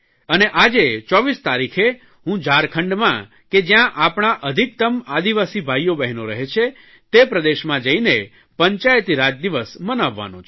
અને આજે 24 તારીખે હું ઝારખંડમાં કે જયાં આપણા અધિકત્તમ આદિવાસી ભાઇઓબહેનો રહે છે તે પ્રદેશમાં જઇને પંચાયતીરાજ દિવસ મનાવવાનો છું